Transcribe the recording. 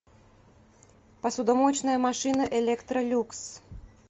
посудомоечная машина электролюкс